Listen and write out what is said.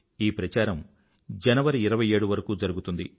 ఈ ప్రచారం జనవరి 27 వరకూ జరిగుతుంది